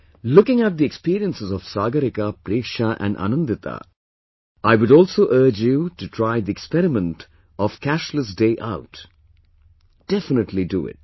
Looking at the experiences of Sagarika, Preksha and Anandita, I would also urge you to try the experiment of Cashless Day Out, definitely do it